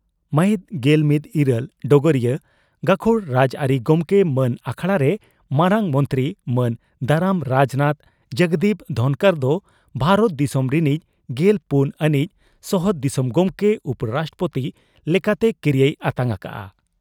ᱢᱟᱹᱦᱤᱛ ᱜᱮᱞᱢᱤᱛ ᱤᱨᱟᱹᱞ (ᱰᱚᱜᱚᱨᱤᱭᱟᱹ) ᱺ ᱜᱟᱹᱠᱷᱩᱲ ᱨᱟᱡᱽᱟᱹᱨᱤ ᱜᱚᱢᱠᱮ ᱢᱟᱱ ᱟᱠᱷᱲᱟᱨᱮ ᱢᱟᱨᱟᱝ ᱢᱚᱱᱛᱤ ᱢᱟᱱ ᱫᱟᱨᱟᱢ ᱨᱟᱡᱽᱱᱟᱛᱷ ᱡᱚᱜᱽᱫᱤᱯ ᱫᱷᱚᱱᱠᱚᱨ ᱫᱚ ᱵᱷᱟᱨᱚᱛ ᱫᱤᱥᱚᱢ ᱨᱤᱱᱤᱡ ᱜᱮᱞ ᱯᱩᱱ ᱟᱹᱱᱤᱡ ᱥᱚᱦᱚᱫ ᱫᱤᱥᱚᱢ ᱜᱚᱢᱠᱮ (ᱩᱯᱚᱼᱨᱟᱥᱴᱨᱚᱯᱳᱛᱤ) ᱞᱮᱠᱟᱛᱮ ᱠᱤᱨᱤᱭᱟᱹᱭ ᱟᱛᱟᱝ ᱟᱠᱟᱫᱼᱟ ᱾